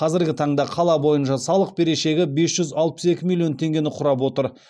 қазіргі таңда қала бойынша салық берешегі бес жүз алпыс екі миллион теңгені құрап отыр